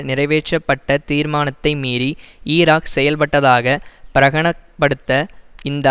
நிறைவேற்றப்பட்ட தீர்மானத்தை மீறி ஈராக் செயல்பட்டதாக பிரகனப்படுத்த இந்த